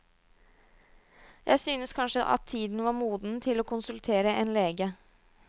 Jeg syntes kanskje at tiden var moden til å konsultere en lege.